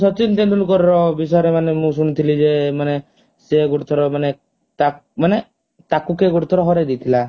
Sachin Tendulkar ବିଷୟରେ ମାନେ ମୁଁ ଶୁଣିଥିଲି ଯେ ମାନେ ସିଏ ଗୋଟେ ଥର ମାନେ ତା ମାନେ ତାକୁ କିଏ ଗୋଟେ ଥର ହରେଇ ଦେଇଥିଲା